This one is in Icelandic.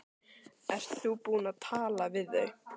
Ert þú búinn að tala við þau?